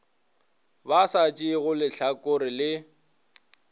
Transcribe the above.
ba sa tšeego lehlakore le